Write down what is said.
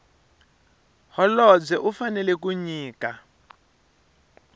holobye u fanela ku nyika